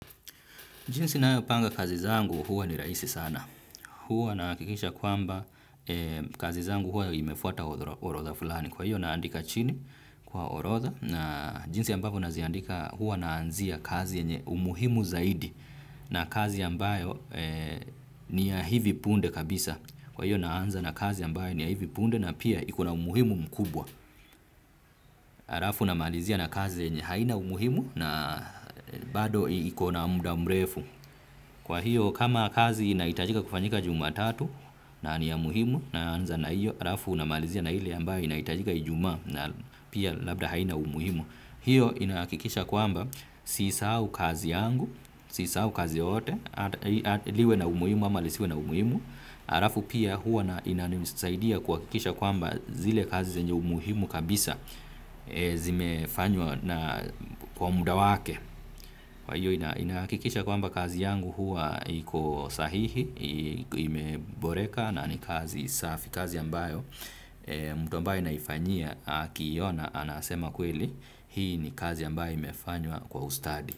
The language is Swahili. Jinsi na upanga kazi zangu huwa ni raisi sana. Huwa nakikisha kwamba kazi zangu huwa imefuata orotha fulani. Kwa hiyo naandika chini kwa orotha na jinsi ambapo naziandika huwa naanzia kazi enye umuhimu zaidi na kazi yambayo ni ya hivi punde kabisa. Kwa hiyo naanza na kazi yambayo ni ya hivi punde na pia iko na umuhimu mkubwa. Arafu namalizia na kazi enye haina umuhimu na bado ikona mda mrefu. Kwa hiyo kama kazi inaitajika kufanyika juma tatu na ni ya muhimu naanza na hiyo arafu unamalizia na hile ambaye inaitajika ijuma na pia labda haina umuhimu. Hiyo inakikisha kwamba sisau kazi yangu, sisau kazi yoyote liwe na umuhimu ama lisiwe na umuhimu. Arafu pia huwa inanimisaidia kwakikisha kwamba zile kazi zenye umuhimu kabisa zimefanywa na kwa muda wake. Kwa hiyo inakikisha kwamba kazi yangu hua iko sahihi, ime boreka na ni kazi safi, kazi yambayo mtu ambaye naifanyia akiona anasema kweli, hii ni kazi yambayo imefanywa kwa ustadi.